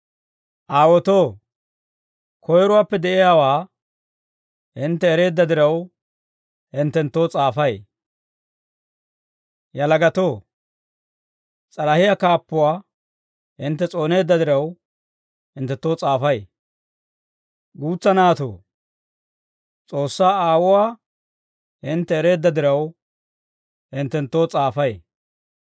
Aawotoo, koyiruwaappe de'iyaawaa hintte ereedda diraw, hinttenttoo s'aafay. Yalagatoo, s'alahiyaa kaappuwaa hintte s'ooneedda diraw, hinttenttoo s'aafay. Guutsa naatoo, S'oossaa Aawuwaa hintte ereedda diraw, hinttenttoo s'aafay.